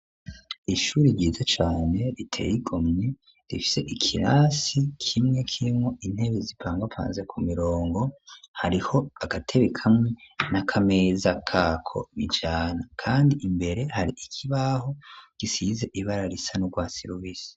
ishuri ryiza cane riteye igomwe rifise ikirasi kimwe kirimwo intebe zipangapanze ku mirongo, hariho agatebe kamwe n'akameza kako bijana, kandi imbere hari ikibaho gisize ibara risa n,urwatsi rubisi.